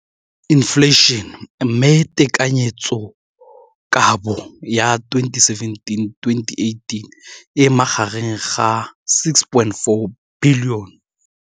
Infleišene, mme tekanyetsokabo ya 2017, 18, e magareng ga R6.4 bilione.